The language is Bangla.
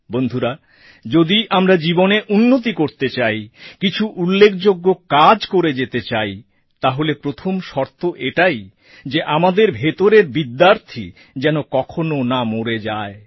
বন্ধুরা যদি আমরা জীবনে উন্নতি করতে চাই কিছু উল্লেখযোগ্য কাজ করে যেতে চাই তাহলে প্রথম শর্ত এটাই যে আমাদের ভেতরের বিদ্যার্থী যেন কখনো না মরে যায়